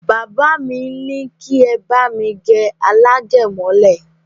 Bàbá li ní kí ẹ bá mi gẹ alágẹ̀mọ́lẹ̀